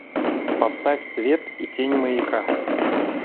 поставь свет и тень маяка